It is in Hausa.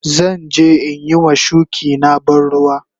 Zan je in yi ma shuki na ban ruwa.